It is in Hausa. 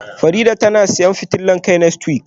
Farida tana siyan fitilar kai next week,?